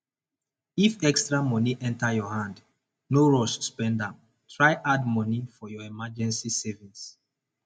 if extra money enter your hand no rush spend am try add money for your emrrgency savings